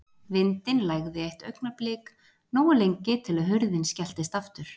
Vindinn lægði eitt augnablik, nógu lengi til að hurðin skelltist aftur.